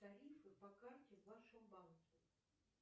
тарифы по карте в вашем банке